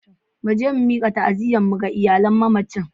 Mu je mu mika ta'aziyyarmu ga iyalan mamacin.